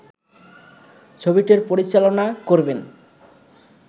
ছবিটির পরিচালনা করবেন